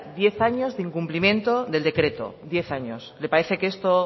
diez años de incumplimiento del decreto diez años le parece que esto